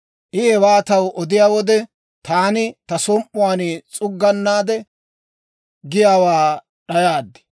I hewaa taw odiyaa wode, taani ta som"uwaan s'uggunnaade, giyaawaa d'ayaad.